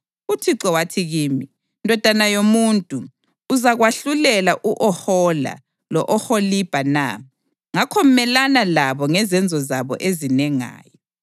UThixo wathi kimi: “Ndodana yomuntu, uzakwahlulela u-Ohola lo-Oholibha na? Ngakho melana labo ngezenzo zabo ezinengayo,